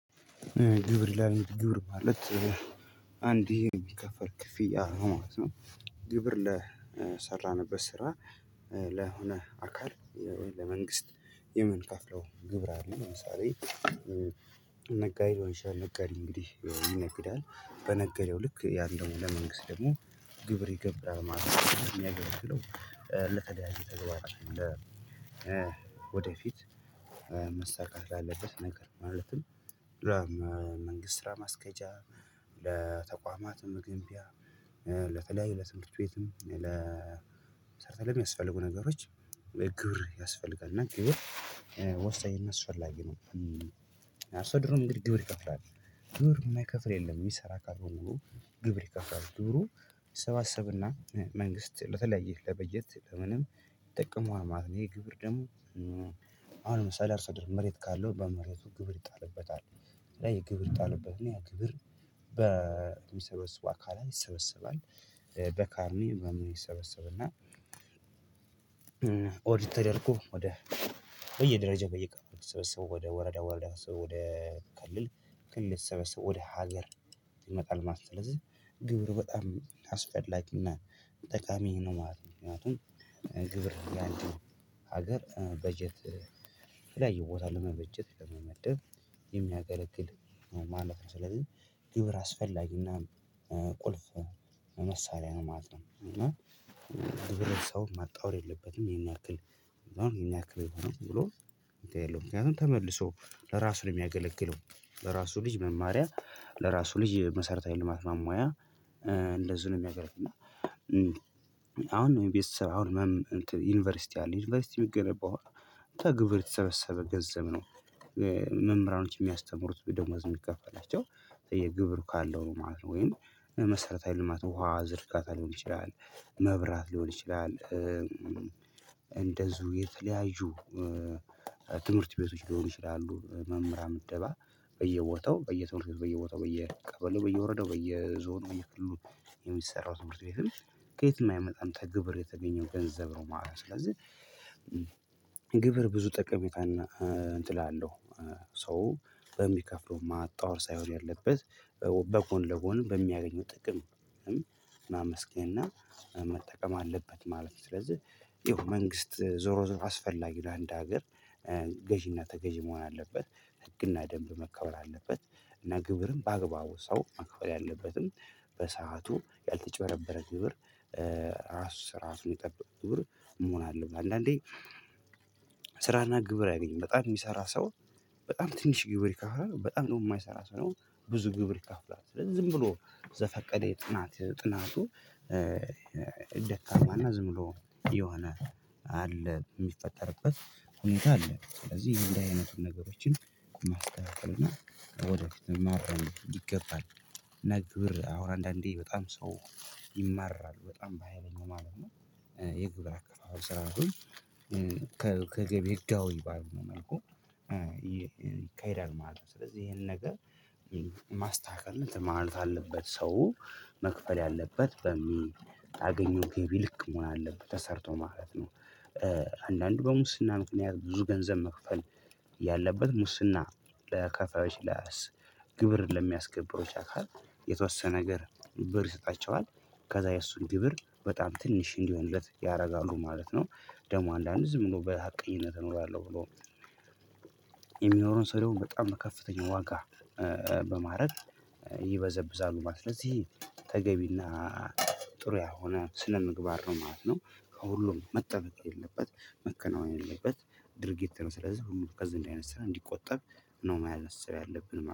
ግብር ይላል ግብር ማለት አንዴ የሚከፈል ክፍያ ነው ማለት ነው ግብር ለሰራንበት ስራ ለሆነ አካል ለመንግስት የምንከፍለው ግብር አለ ለምሳሌ ነጋዴ ሊሆን ይችላል ነጋዴ እንግዲህ ይነግዳል በነገደው ልክ ያገኘውን ለመንግስት ደግሞ ግብር ይገብራል ማለት ነው የሚያገለግለው ለተለያዩ ተግባራችን ለ ወደፊት መሳካት ላለበት ነገር ማለትም ለመንግስት ስራ ማስኬጃ ለተቋማት መገንቢያ ለተለያዩ ለትምህርት ቤትም ለ ለሰርተ ለሚያስፈልጉ ነገሮች ግብር ያስፈልጋል እና ግብር ወሳኝ አስፈላጊ ነው ሰው ድሮም እንግዲህ ግብር ይከፍላል ግብር የማይከፍል የለም የሚሰራ ካልሆነ ግብር ይከፍላል ብሩ ይሰባሰብና መንግስት ለተለያየ ለበጀት ለምንም ይጠቀመዋል ማለት ነው ይሄ ግብር ደግሞ አሁን ለምሳሌ አርሶአደር መሬት ካለው በመሬቱ ግብር ይጣልበታል ላይ ግብር ይጣልበትና ያ ግብር በሚሰበስቡ አካላት ይሰበሰባል በካርኒ ምናምን ይሰበሰብና ኦዲት ተደርጎ ወደ በየደረጃው በየቀጠናው የሚሰበሰበው ወደ ወረዳ ወረዳ የሚሰበሰበው ወደ ክልል ክልል የተሰበሰበው ወደ ሀገር ይመጣል ማለት ነው ስለዚህ ግብር በጣም አስፈላጊና ጠቃሚ ነው ማለት ነው ምክንያቱም ግብር የአንድ ሀገር በጀት የተለያየ ቦታ ለመበጀት ለመመደብ የሚያገለግል ማለፍ ነው ስለዚህ ግብር አስፈላጊና ቁልፍ መሳሪያ ነው ማለት ነው እና ማጣወር የለበትም ይሄን ያክል አሁን ይሄን ያክል የለውም ብሎ ምክንያቱም ተመልሶ ለራሱ ነው የሚያገለግለው ለራሱ ልጅ መማሪያ ለራሱ ልጅ መሰረታዊ ልማት ማሟያ እንደዚህ ነው የሚያገለግለው እና አሁን የቤት ስራ አሁን ምን ዩኒቨርሲቲ አለ ዩኒቨርሲቲ የሚገነባው ግብር የተሰበሰበ ገንዘብ ነው መምህራኖች የሚያስተምሩት ደሞዝ የሚከፋላቸው የግብር ካለው ማለት ነው ወይም መሰረታዊ ልማት ውሃ ዝርጋታ ሊሆን ይችላል መብራት ሊሆን ይችላል እንደዚሁ የተለያዩ ትምህርት ቤቶች ሊሆን ይችላሉ መምህራን ምድባ በየቦታው በየትምህርት ቤት በየቦታው በየቀበሌው በየወረዳው በየዞን በየክልሉ የሚሰራው ትምህርት ቤትም ከየትም አይመጣም ከግብር የተገኘው ገንዘብ ነው ማለት ነው ስለዚህ ብዙ ጠቀሜታና እንትን አለው ሰው በሚከፍለው ማጣወር ሳይሆን ያለበት በጎንለጎን በሚያገኘው ጥቅም ማመስገን እና መጠቀም አለበት ማለት ነው ስለዚህ ይሄው መንግስት ዞሮ ዞሮ አስፈላጊው ለአንድ ሀገር ገዢና ተገዢ መሆን አለበት ህግና ደንብ መከበር አለበት እና ግብርም በአግባቡ ሰው ማክበር ያለበትን በሰአቱ ያልተጭበረበረ ግብር አሰራሩን የጠበቀ ግብር መሆን አለበት አንዳንዴ ስራና ግብር አይገኝም በጣም የሚሰራ ሰው በጣም ትንሽ ግብር ይከፍላል በጣም ደግሞ የማይሰራ ሰው ነው ብዙ ግብር ይካፍላል ስለዚህ ዝም ብሎ ዘፈቀደ የጥናት ጥናቱ ደካማና ዝም ብሎ የሆነ አለ የሚፈጠርበት ሁኔታ አለ። ስለዚህ ይሄ እንደዚህ አይነቱን ነገሮችን ማስተካከል እና ወደፊትም ማረም ይገባል። ነገር ግን አሁን አንዳንዴ በጣም ሰው ይማረራል። በጣም በሃይለኛው ማለት ነው። የግብር አካባቢ ስራ አሁን ከገቢ ህጋዊ ባልሆነ መልኩ ይካሄዳል ማለት ነው። ስለዚህ ይሄን ነገር ማስተካከል ማለት አለበት ሰው መክፈል አለበት በሚያገኘው ገቢ ልክ መሆን አለበት ተሰርቶ ማለት ነው። አንዳንዱ በሙስና ምክንያት ብዙ ገንዘብ መክፈል ያለበት ሙስና ለከፋዮች፣ ግብርን ለሚያስገብሩ አካል የተወሰነ ነገር ብር ይሰጣቸዋል ከዛ የእሱን ግብር በጣም ትንሽ እንዲሆንለት ያደርጋሉ ማለት ነው። ደግሞ አንዳንድ ዝም ብሎ በሀቀኝነት እኖራለሁ ብሎ የሚኖረውን ሰው ደግሞ በጣም ከፍተኛ ዋጋ በማረግ ይበዘብዛሉ ማለት ነው። ስለዚህ ተገቢና ጥሩ ያሆነ ስለ ምግባር ነው ማለት ነው። ከሁሉም መጠበቅ የለበት መከናወን የለበት ድርጊት ነው። ስለዚህ ሁሉም ከዚህ አይነት ስራ እንድቆጠብ ነው ማሳሰብ ያለብን ማለት ነው።